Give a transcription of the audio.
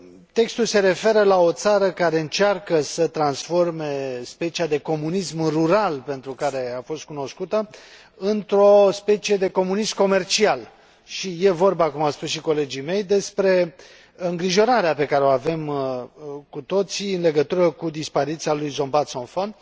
Textul se referă la o țară care încearcă să transforme specia de comunism rural, pentru care a fost cunoscută, într o specie de comunism comercial și este vorba, cum au spus și colegii mei, despre îngrijorarea pe care o avem cu toții în legătură cu dispariția lui Sombath Somphone,